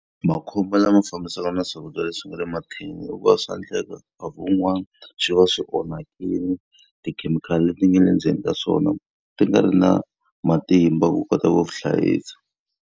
Makhombo lama fambisanaka na swakudya leswi nga le mathinini i ku va swa endleka nkarhi wun'wani swi va swi onhakile, tikhemikhali leti nga le ndzeni ka swona ti nga ri na matimba ku kota ku ku hlayisa.